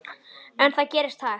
En það gerist hægt.